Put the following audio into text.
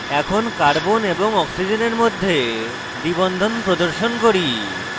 এখন carbon এবং oxygen মধ্যে দ্বিbond প্রদর্শন করি